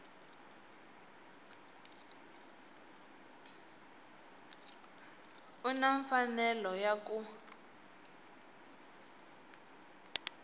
u na mfanelo ya ku